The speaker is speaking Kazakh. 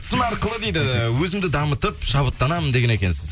сын арқылы дейді өзімді дамытып шабыттанамын деген екенсіз